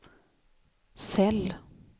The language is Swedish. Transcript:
cell